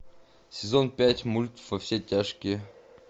сезон пять мульт во все тяжкие